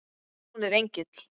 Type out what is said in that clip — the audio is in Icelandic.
Hún er engill.